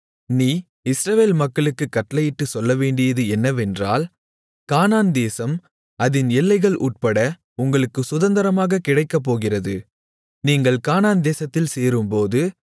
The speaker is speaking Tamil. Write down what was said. நீ இஸ்ரவேல் மக்களுக்குக் கட்டளையிட்டுச் சொல்லவேண்டியது என்னவென்றால் கானான்தேசம் அதின் எல்லைகள் உட்பட உங்களுக்குச் சுதந்தரமாகக் கிடைக்கப்போகிறது நீங்கள் கானான்தேசத்தில் சேரும்போது